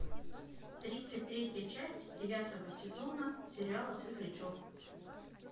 тридцать третья часть девятого сезона сериала светлячок